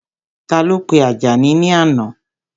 Ta ló pe Àjàní ní àná?